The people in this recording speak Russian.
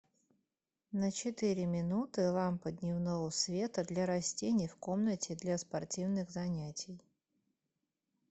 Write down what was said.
на четыре минуты лампа дневного света для растений в комнате для спортивных занятий